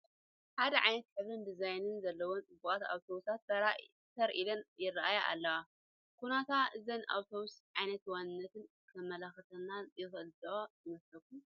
ሓደ ዓይነት ሕብርን ዲዛይንን ዘለወን ፅቡቓት ኣውቶቡሳት ተር ኢለን ይርአያ ኣለዋ፡፡ ኩነታ እዘን ኣውቶቡሳት ዓይነት ዋንነተን ከመላኽተና ይኽእል ዶ ይመስለኩም?